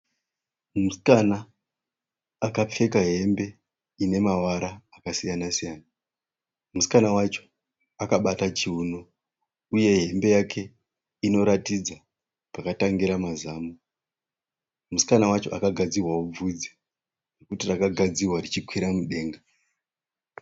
Musikana akapfeka hembe ine mavara akasiyana siyana. Musikana wacho akabata chiuno uye hembe yake inoratidza pakatangira mazamu. Musikana wacho akagadzirwawo bvudzi. Rakagadzirwa richikwira mudenga.